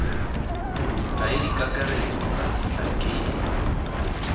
b mokaedi kakaretso kana motlhankedi